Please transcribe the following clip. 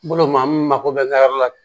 Bolo maa min mako bɛ ka yɔrɔ la